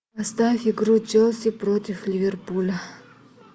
поставь игру челси против ливерпуля